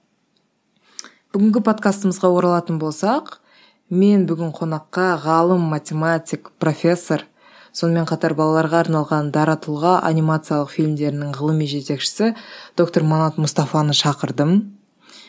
бүгінгі подкастымызға оралатын болсақ мен бүгін қонаққа ғалым математик профессор сонымен қатар балаларға арналған дара тұлға анимациялық фильмдерінің ғылыми жетекшісі доктор манат мұстафаны шақырдым